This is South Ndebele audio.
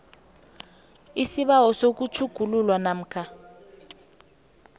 isibawo sokutjhugululwa namkha